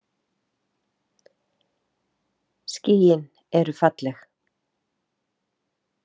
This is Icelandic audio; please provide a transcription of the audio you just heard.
Skýin eru falleg.